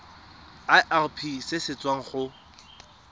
irp se se tswang go